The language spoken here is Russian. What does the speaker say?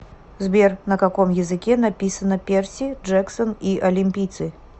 сбер на каком языке написано перси джексон и олимпийцы